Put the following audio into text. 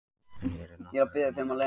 En hér er nokkuð öðru máli að gegna.